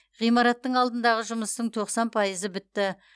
ғимараттың алдындағы жұмыстың тоқсан пайызы бітті